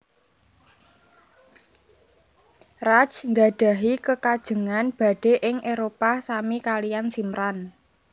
Raj nggadhahi kekajengan badhé ing Éropah sami kalian Simran